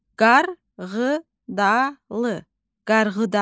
Qarğıdalı, qarğıdalı.